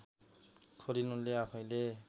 खोलिन् उनले आफैँले